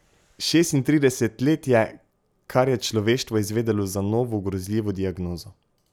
Šestintrideset let je, kar je človeštvo izvedelo za novo grozljivo diagnozo.